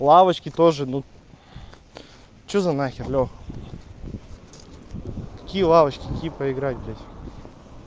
лавочки тоже ну что за нахер лёх какие лавочки какие проиграй блять